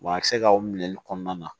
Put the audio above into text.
Wa a bɛ se ka o minɛli kɔnɔna na